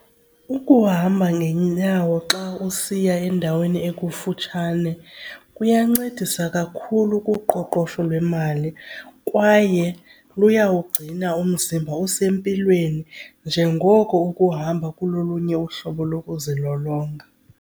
Ukuhamba ngenyawo xa usiya endaweni ekufutshane kuyancedisa kakhulu kuqoqosho lwemali kwaye luyawugcina umzimba usempilweni njengoko ukuhamba kulolunye uhlobo lokuzilolonga.